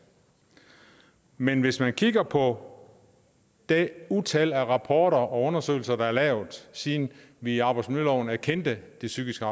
men hvis man kigger på det utal af rapporter og undersøgelser der er lavet siden vi i arbejdsmiljøloven erkendte de psykiske